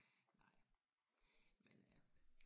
Nej. Men øh